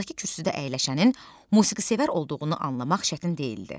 Yanındakı kürsüdə əyləşənin musiqisevər olduğunu anlamaq çətin deyildi.